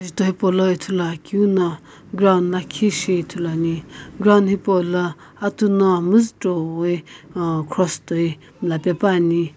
jutho hipaulono ithuluakeu no ground lakhi shi ithuluani ground hipaulo atu no müzuchoi uh cross toi mlla pepuani.